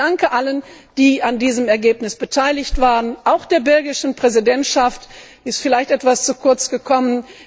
Ich danke allen, die an diesem Ergebnis beteiligt waren, auch der belgischen Präsidentschaft, sie ist vielleicht etwas zu kurz gekommen.